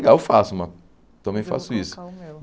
Legal, eu faço, mas também faço isso. colocar o meu